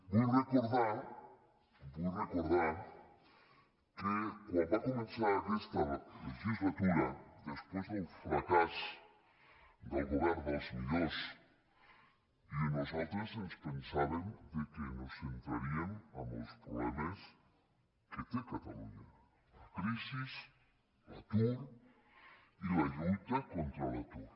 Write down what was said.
vull recordar vull recordar que quan va començar aquesta legislatura després del fracàs del govern dels millors nosaltres ens pensàvem que ens centraríem en els problemes que té catalunya la crisi l’atur i la lluita contra l’atur